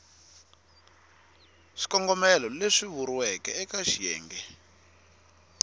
swikongomelo leswi vuriweke eka xiyenge